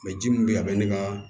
ji min bɛ ye a bɛ ne ka